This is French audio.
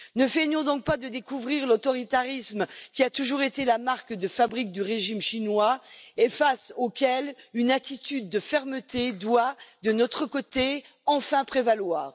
Ne feignons donc pas de découvrir l'autoritarisme qui a toujours été la marque de fabrique du régime chinois, et face auquel une attitude de fermeté doit, de notre côté, enfin prévaloir.